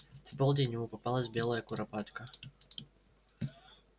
в полдень ему попалась белая куропатка